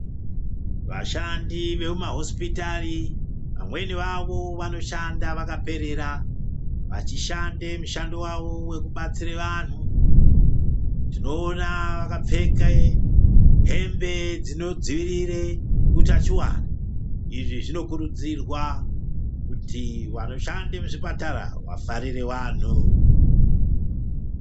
Vashandi vemumahosipitari, vamweni vavo vanoshanda vakaperera. Vachishande mushando wavo wekubatsire vanhu. Tinoona vakapfeke hembe dzinodzivirire utachiwana. Izvi zvinokurudzirwa kuti vanoshande muzvipatara vafarire vanhu.